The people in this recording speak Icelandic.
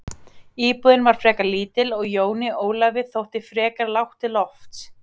Íbúðin var frekar lítil og Jóni Ólafi þótti frekar lágt til lofts.